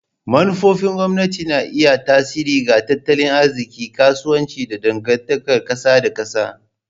Manufofin gwamnati na iya yin tasiri ga tattalin arziki, kasuwanci, da dangantakar kasa da kasa.